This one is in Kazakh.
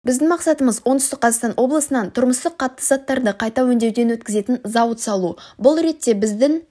біздің мақсатымыз оңтүстік қазақстан облысынан тұрмыстық қатты заттарды қайта өңдеуден өткізетін зауыт салу бұл ретте біздің